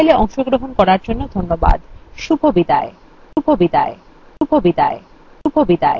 এই tutorialএ অংশগ্রহন করার জন্য ধন্যবাদ শুভবিদায়